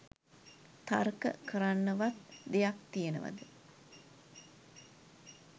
තර්ක කරන්නවත් දෙයක් තියෙනවද